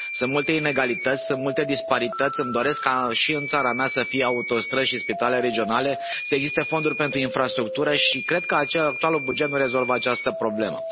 Sunt multe inegalități, sunt multe disparități, îmi doresc ca și în țara mea să fie autostrăzi și spitale regionale, să existe fonduri pentru infrastructură, și cred că actualul buget nu rezolvă această problemă.